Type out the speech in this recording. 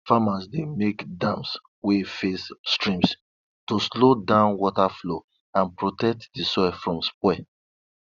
farmers dey make dams wey face streams to slow down water flow and protect di soil from spoil